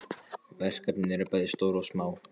Verkefnin eru bæði stór og smá.